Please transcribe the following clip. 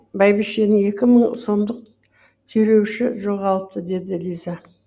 бәйбішенің екі мың сомдық түйреуіші жоғалыпты деді лиза